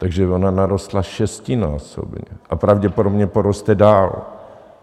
Takže ona narostla šestinásobně a pravděpodobně poroste dál.